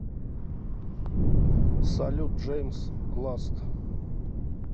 салют джэймс ласт